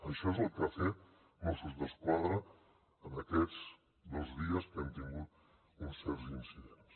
això és el que ha fet mossos d’esquadra en aquests dos dies que hem tingut uns certs incidents